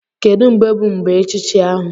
Kedu mgbe bụ mgbe echichi ahu?